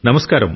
నమస్కారం